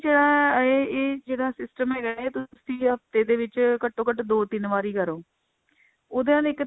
ਜਿਹੜਾ ਇਹ system ਹੈਗਾ ਇਹ ਤੁਸੀਂ ਹਫਤੇ ਦੇ ਵਿੱਚ ਘੱਟੋ ਘੱਟ ਦੋ ਤਿੰਨ ਵਾਰੀ ਕਰੋ ਉਹਦੇ ਨਾਲ ਇੱਕ ਤਾਂ